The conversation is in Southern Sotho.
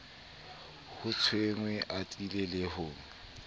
ho thwenge atile le ho